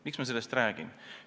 Miks ma sellest räägin?